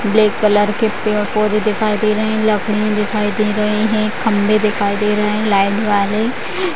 black colour के पेड़-पोधे दिखाई दे रहे है लकड़ियां दिखाई दे रही है खम्भे दिखाई दे रहे है --